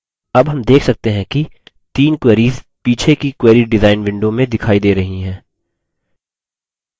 अब हम देख सकते हैं कि तीन query पीछे की query डिज़ाइन window में दिखाई we रही हैं